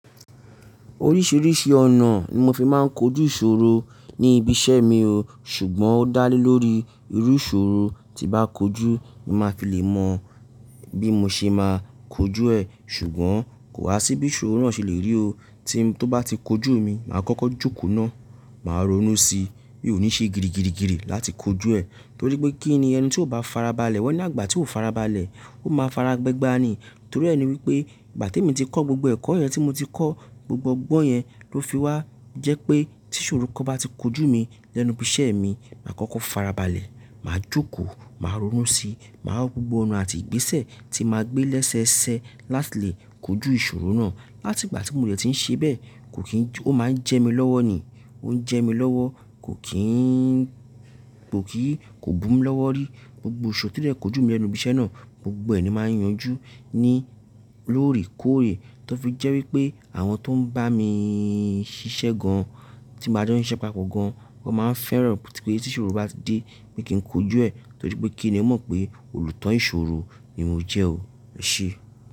Oríṣiríṣi ọ̀nà ni mo fi máa ń kojú ìṣòro ní ibi iṣẹ́ mi o, ṣùgbọ́n ó dá lé lórí irú ìṣòro tí bá kojú ni màá fi lè mọ bí mo ṣe máa kojú ẹ̀. Ṣùgbọ́n kò wá sí bí ìṣòro náà ṣe lè rí o, tí tọ́ bá ti kojú mi, màá kọ́kọ́ jókòó náà, màá ronú síi mí ò ní ṣe girigirigiri láti kojú ẹ̀. Torí pé kí ni ẹni tí kò bá farabalẹ̀ wọ́n ní àgbà tí ó farabalẹ̀, ó máa faragbegbà ni. Torí ẹ ni wípé ìgbà tí mo ti kọ́ gbogbo ẹ̀kọ́ yẹn tí mo ti kọ́, gbogbo ọgbọ́n yẹn ló fi wá jẹ́ pé tí ìṣòro kan bá ti kojú mi lẹ́nu ibi iṣẹ́ mi, màá kọ́kọ́ farabalẹ̀, màá jókòó, màá ronú síi, màá rọ gbogbo ọ̀nà àti ìgbésẹ̀ tí màá gbé lẹ́sẹẹsẹ láti lè kojú ìṣòro náà. Áti ìgbà tí mo dẹ̀ ti ń ṣe bẹ́ẹ̀, kò kín, ó máa ń jẹ mí lọ́wọ́ ni, ó ń jẹ mí lọ́wọ́, kò kín, kò kì í, kò bù mi lọ́wọ́ rí. Gbogbo ìṣòro tí dẹ̀ kojú mi lẹ́nu ibi iṣẹ́ náà, gbogbo ẹ̀ ni màá yanjú ní lóre kòrè. Tọ́ fi jẹ́ wípé àwọn tó ń bá mi ṣiṣẹ́ gan-an tí mbá jo n siṣẹ́ papọ̀ gan-an, wọ́n máa ń fẹ́ràn pé tí ìṣòro bá ti dé pé kí n kojú ẹ̀ torí pé kí ni ẹ mọ̀ pé olùtán ìṣòro ni mo jẹ́ o. E sé.